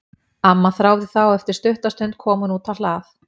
Amma þáði það og eftir stutta stund kom hún út á hlað.